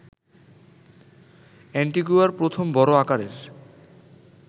অ্যান্টিগুয়ার প্রথম বড় আকারের